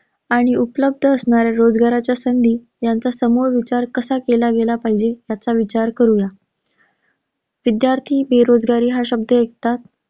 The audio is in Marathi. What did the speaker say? आणि उपलब्ध असणाऱ्या रोजगाराच्या संधी, यांचा समोर विचार कसा केला गेला पाहिजे याचा विचार करूया. विद्यार्थी बेरोजगारी हा शब्द ऐकताच,